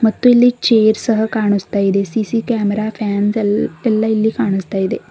ಮತ್ತು ಇಲ್ಲಿ ಚೇರ್ ಸಹ ಕಾಣಸ್ತಾ ಇದೆ ಸಿ_ಸಿ ಕ್ಯಾಮೆರಾ ಫ್ಯಾನ್ಸ್ ಎಲ್ ಎಲ್ಲಾ ಇಲ್ಲಿ ಕಾಣಸ್ತಾ ಇದೆ.